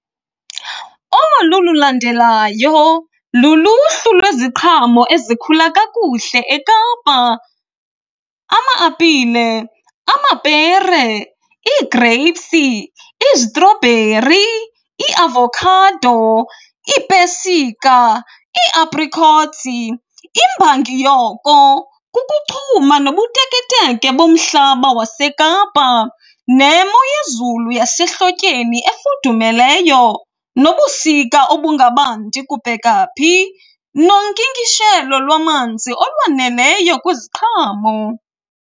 Olu lulandelayo luluhlu lweziqhamo ezikhula kakuhle eKapa ama-apile, amapere, ii-grapes, izitrobheri, iiavokhado, iipesika, i-apricots. Imbangi yoko kukuchuma nobuteketeke bomhlaba waseKapa nemo yezulu yasehlotyeni efudumeleyo, nobusika obungabandi kubheka phi, nonkinkishelo lwamanzi olwaneleyo kwiziqhamo.